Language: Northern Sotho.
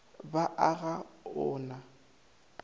ba a ga o na